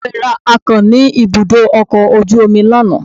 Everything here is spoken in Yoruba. Bàbá mi ra akàn ní ibùdó ọkọ̀ ojú omi lánàá.